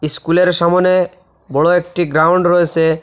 ইস্কুলের সামোনে বড়ো একটি গ্রাউন্ড রয়েসে।